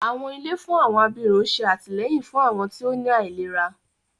Àwọn ilé fún àwọn abirùn ṣé àtìlẹ́yìn fún àwọn tí ó ní àìlera